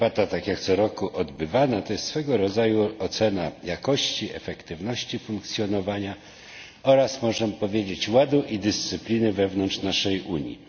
Ta debata, tak jak co roku odbywana, to jest swego rodzaju ocena jakości, efektywności funkcjonowania oraz, możemy powiedzieć, ładu i dyscypliny wewnątrz naszej Unii.